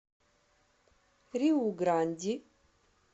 риу гранди